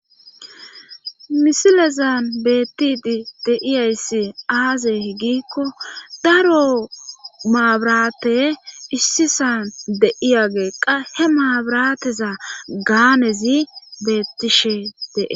misilezan bettidi deiyayssi aazey higikko daro maabrate issisan deiyageeqqa he maabrateza gaanezi beettishe dee